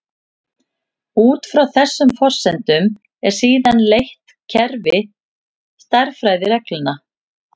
Út frá þessum forsendum er síðan leitt kerfi stærðfræðireglna.